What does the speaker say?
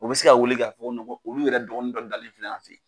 U bɛ se k'a wele k'a fɔ ko olu yɛrɛ dɔgɔnin dɔ dalen filɛ yan fɛ yen